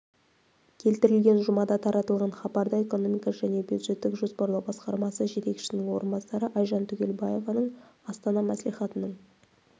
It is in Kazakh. келтірілген жұмада таратылған хабарда экономика және бюджеттік жоспарлау басқармасы жетекшісінің орынбасары айжан түгелбаеваның астана мәслихатының